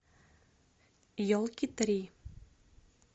елки три